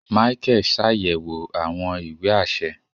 Micheal ṣayẹwo awọn ìwé aṣẹ